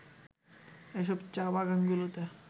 এসব চা-বাগানগুলোতে